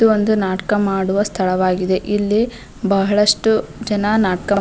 ಇದು ನಾಟಕ ಮಾಡುವ ಸ್ಥಳವಾಗಿದೆ ಇಲ್ಲಿ ಬಹಳಷ್ಟು ಜನ ನಾಟಕ --